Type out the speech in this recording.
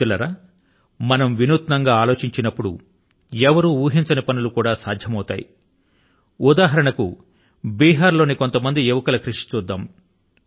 మిత్రులారా మనం వినూత్నం గా ఆలోచించినప్పుడు ఎవరూ ఊహించని పనులు కూడా సాధ్యమవుతాయి ఉదాహరణ కు బిహార్ లోని కొంతమంది యువకుల కృషి ని గమనిద్దాము